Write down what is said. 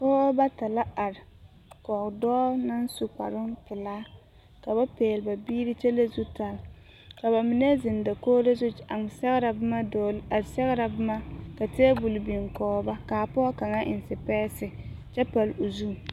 Pɔgeba bata la are kɔge dɔɔ naŋ su kparoŋ pelaa ka ba pɛgle ba biiri kyɛ lere zutare ka ba mine zeŋ dakogro zu a sɛgrɛ boma dɔg a sɛgrɛ boma ka tabol biŋ kɔge ba ka pɔge kaŋa eŋ sepɛɛse kyɛ pale o zu.